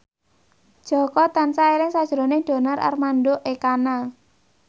Jaka tansah eling sakjroning Donar Armando Ekana